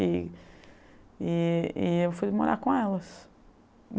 E e e eu fui morar com elas.